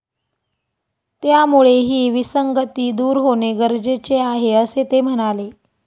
त्यामुळे ही विसंगती दूर होणे गरजेचे आहे, असे ते म्हणाले.